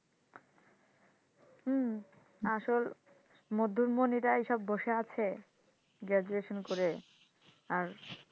হম আসল মধ্যম ধনীরাই এসে বসে আছে graduation করে আর,